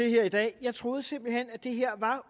her i dag jeg troede simpelt hen det her var